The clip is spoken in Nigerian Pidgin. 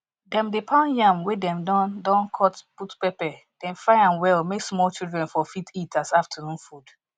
dem dey pound yam wey dem don don con put pepper den fry am well may small children for fit eat as afternoon food